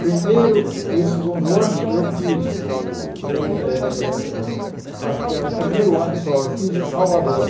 Primeiro e segundo ano eu fiz eh eh eh o, acho que é o primeiro ano só, eu fiz em Salvador.